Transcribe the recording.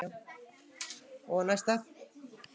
Um það er deilt.